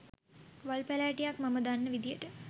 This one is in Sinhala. වල් පැලෑටියක් මම දන්න විදියට